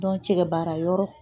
cɛkɛ baara yɔrɔ